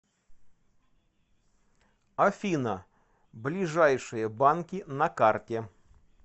афина ближайшие банки на карте